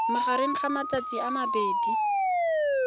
magareng ga matsatsi a mabedi